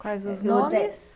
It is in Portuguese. Quais os nomes?